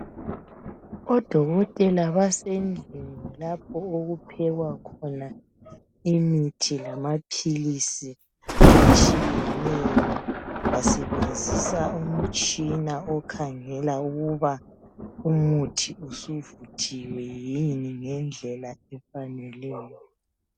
odokotela basendlini lapho okuphekwa khona imithi lamaphilisi atshiyeneyo basebenzisa umtshina okhangela ukuba umuthi usuvuthiwe yini ngendlela efaneleyo